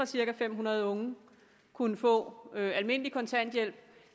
cirka fem hundrede unge kunne få almindelig kontanthjælp